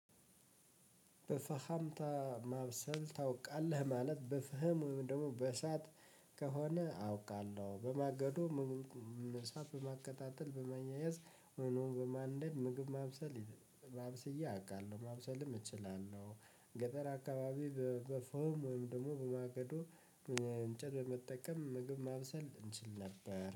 በፈሃምታ ማብሰል ታውቃለህ ማለት በፍህም ወይም ደግሞ በእሳት ከሆነ አውቃለሁ በማገዶ ምግብ እሳት በማቀጣጠል በመያያዝ ወይም ደግሞ በማንደድ ምግብ ማብሰል አብስዬ አውቃለሁ ማብሰልም እችላለሁ። ገጠር አካባቢ በፎም ወይም ደግሞ በማገዶ እንጨት በመጠቀም ምግብ ማብሰል እንችል ነበር